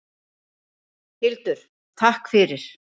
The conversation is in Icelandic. Hildur: Takk fyrir.